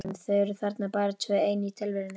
Þau eru þarna bara tvö ein í tilverunni.